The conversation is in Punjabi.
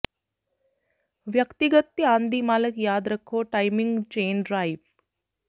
ਵਿਅਕਤੀਗਤ ਧਿਆਨ ਦੀ ਮਾਲਕ ਯਾਦ ਰੱਖੋ ਟਾਈਮਿੰਗ ਚੇਨ ਡਰਾਈਵ